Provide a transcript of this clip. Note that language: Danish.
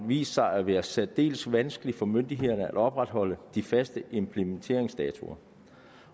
vist sig at være særdeles vanskeligt for myndighederne at opretholde de faste implementeringsdatoer